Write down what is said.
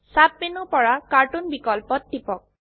sub মেনুৰ পৰা cartoon বিকল্পত টিপক